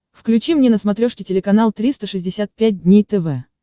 включи мне на смотрешке телеканал триста шестьдесят пять дней тв